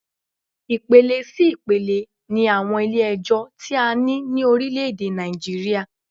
Ipele sí ipele ni àwọn Ilé ẹjọ́ ti a ní ní orílẹ̀ èdè Nàìjíríà